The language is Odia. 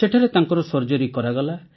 ସେଠାରେ ତାଙ୍କର ସର୍ଜରୀ କରାଗଲା